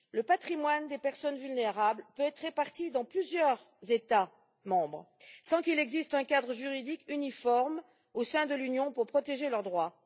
Le patrimoine des personnes vulnérables peut être réparti dans plusieurs États membres, sans qu'il existe un cadre juridique uniforme au sein de l'Union pour protéger leurs droits.